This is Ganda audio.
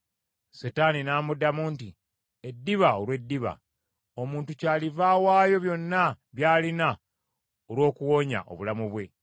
Setaani n’amuddamu nti, “Eddiba olw’eddiba, omuntu kyaliva awaayo byonna by’alina olw’okuwonya obulamu bwe;